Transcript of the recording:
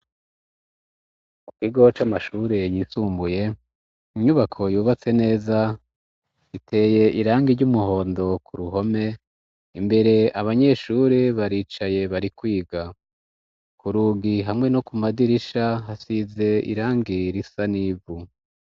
Ikigo c amashuri yisumbuye, inyubako yubatse neza, iteye irangi ry'umuhondo ku ruhome imbere abanyeshuri baricaye bari kwiga, ku rugi hamwe no ku madirisha hasize irangi risa n'ivu.